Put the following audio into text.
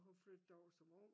Hun flyttede derover som ung